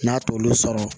N'a t'olu sɔrɔ